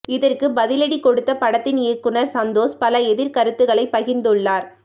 இதற்கு பதிலடி கொடுத்த படத்தின் இயக்குனர் சந்தோஷ் பல எதிர் கருத்துக்களை பகிர்ந்து உள்ளார்